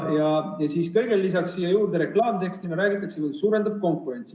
Ja siis veel lisaks siia juurde reklaamtekst, milles räägitakse, et see suurendab konkurentsi.